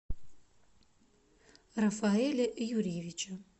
рафаэля юрьевича